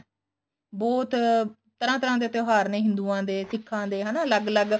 ਬਹੁਤ ਤਰ੍ਹਾਂ ਤਰ੍ਹਾਂ ਦੇ ਤਿਉਹਾਰ ਨੇ ਹਿਦੂਆਂ ਦੇ ਸਿੱਖਾ ਦੇ ਹਨਾ ਅਲੱਗ ਅਲੱਗ